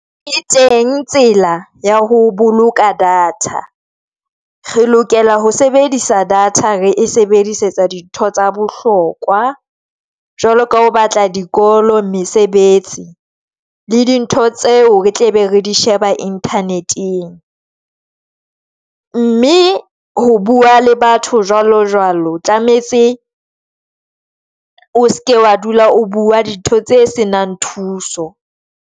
E teng tsela ya ho boloka data re lokela ho sebedisa data re e sebedisetsa dintho tsa bohlokwa, jwalo ka o batla dikolo, mesebetsi le dintho tseo re tle be re di sheba Internet-eng mme ho bua le batho jwalo jwalo, o tlametse o seke wa dula o bua dintho tse se nang thuso.